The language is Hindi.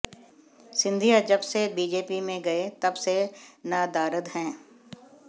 सिंधिया जब से बीजेपी में गए तब से नदारद हैं